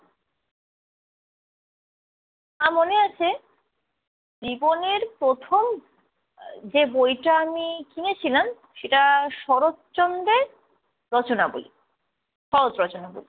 আমার মনে আছে, জীবনের প্রথম যে বইটা আমি কিনেছিলাম সেটা শরৎচন্দ্রের রচনাবলী। সহজ রচনাবলী।